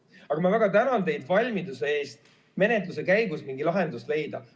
Igal juhul ma väga tänan teid valmiduse eest menetluse käigus mingi lahendus leida.